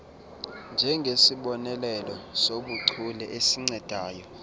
njengesibonelelo sobuchule esincedayo